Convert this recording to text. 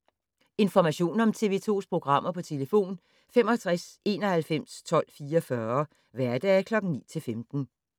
Information om TV 2's programmer: 65 91 12 44, hverdage 9-15.